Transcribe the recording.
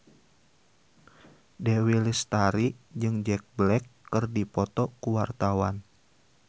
Dewi Lestari jeung Jack Black keur dipoto ku wartawan